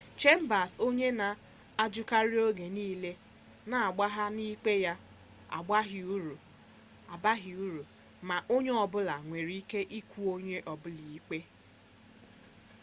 chambers onye na-ajụkarị oge niile na-agbagha na ikpe ya abaghị uru ma onye ọ bụla nwere ike ịkụ onye ọbụla ikpe